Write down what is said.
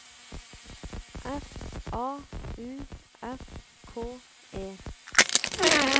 F A U S K E